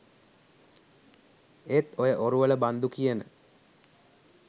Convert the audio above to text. ඒත් ඔය ඔරුවල බන්දු කියන